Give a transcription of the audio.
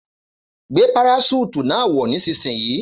Gbé paraṣúùtù náà wọ̀ nísinsìnyí